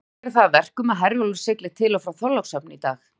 Veður gerir það að verkum að Herjólfur siglir til og frá Þorlákshöfn í dag.